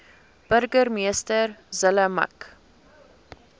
burgemeester zille mik